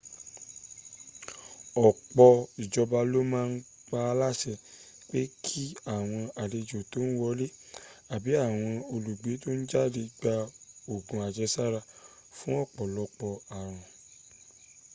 ọ̀pọ̀ ijoba ló ma n pa á láṣẹ pé kí àwọn alejò tón wọlé abi àwọn olùgbé tó n jáde gba ògùn ajesara fún ọ̀pọ̀lopọ̀ àrùn